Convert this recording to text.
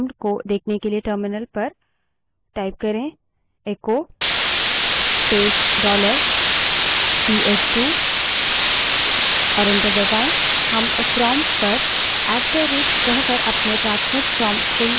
द्वितीयक command prompt को देखने के लिए terminal पर echo space dollar पीएसटू बड़े अक्षर में type करें और enter दबायें